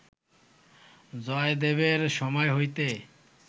জয়দেবের সময় হইতে